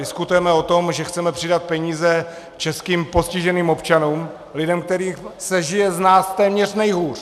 Diskutujeme o tom, že chceme přidat peníze českým postiženým občanům, lidem, kterým se žije z nás téměř nejhůř.